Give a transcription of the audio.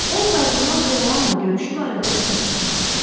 O kardinal DeRoanla görüşü barədə çox düşünmüşdü.